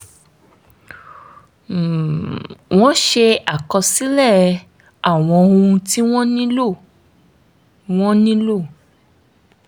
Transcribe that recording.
um wọ́n ṣe àkọsílẹ̀ àwọn ohun tí wọ́n nílò wọ́n nílò